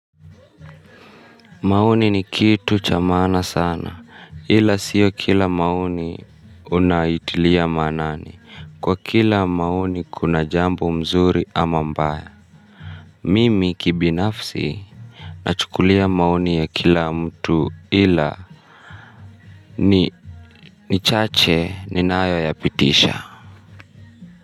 Maoni ni kitu cha maana sana ila sio kila maoni unaitilia maanani kwa kila maoni kuna jambo mzuri ama mbaya mimi kibinafsi nachukulia maoni ya kila mtu ila ni ni chache ninayo yapitisha.